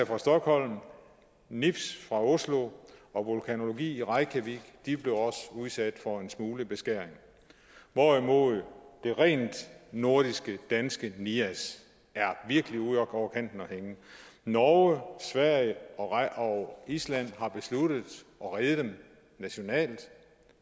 fra stockholm nips fra oslo og vulkanologi i reykjavik blev også udsat for en smule beskæring hvorimod det rent nordiske danske nias virkelig er ude over kanten og hænge norge sverige og island har besluttet at redde dem nationalt